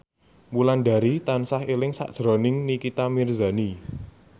Wulandari tansah eling sakjroning Nikita Mirzani